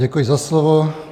Děkuji za slovo.